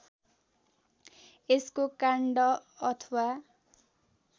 यसको काण्ड अथवा